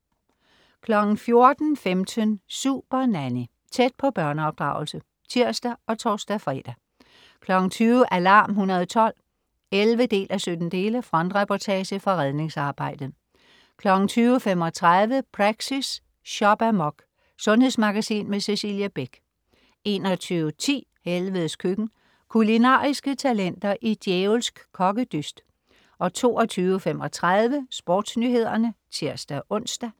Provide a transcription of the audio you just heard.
14.15 Supernanny. Tæt på børneopdragelse (tirs og tors-fre) 20.00 Alarm 112 11:17. Frontreportage fra redningsarbejdet 20.35 Praxis. Shop-amok. Sundhedsmagasin med Cecilie Beck 21.10 Helvedes Køkken. Kulinariske talenter i djævelsk kokkedyst 22.35 SportsNyhederne (tirs-ons)